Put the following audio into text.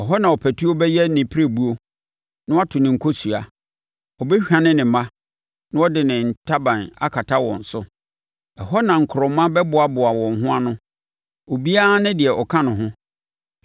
Ɛhɔ na ɔpatuo bɛyɛ ne pirebuo, na wato ne nkosua. Ɔbɛhwane ne mma, na ɔde ne ntaban akata wɔn so; ɛhɔ na nkorɔma bɛboaboa wɔn ho ano, obiara ne deɛ ɔka ne ho.